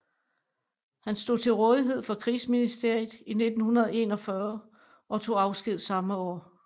Han stod til rådighed for Krigsministeriet 1941 og tog afsked samme år